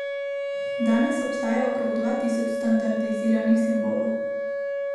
Danes obstaja okrog dva tisoč standardiziranih simbolov.